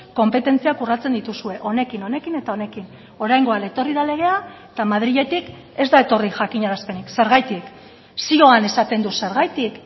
konpetentziak urratzen dituzue honekin honekin eta honekin oraingoan etorri da legea eta madriletik ez da etorri jakinarazpenik zergatik zioan esaten du zergatik